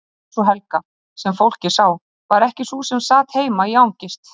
En sú Helga, sem fólkið sá, var ekki sú sem sat heima í angist.